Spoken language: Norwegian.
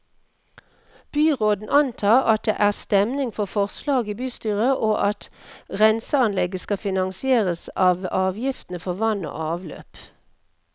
Byråden antar at det er stemning for forslaget i bystyret, og at renseanlegget skal finansieres av avgiftene for vann og avløp.